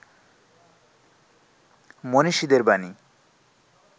মনীষীদের বাণী